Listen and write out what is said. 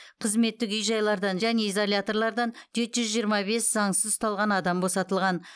қызметтік үй жайлардан және изоляторлардан жеті жүз жиырма бес заңсыз ұсталған адам босатылған